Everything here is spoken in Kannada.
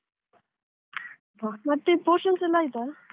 ಮತ್ತೆ portions ಎಲ್ಲ ಆಯ್ತಾ?